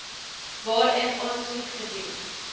waarin aansoek gedoen